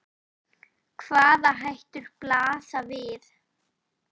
Hvaða hættur blasa við?